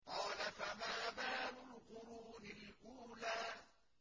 قَالَ فَمَا بَالُ الْقُرُونِ الْأُولَىٰ